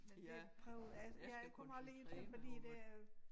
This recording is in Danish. Men det prøver altså jeg kommer lige til fordi det er øh